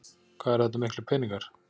Hvað eru þetta miklir peningar?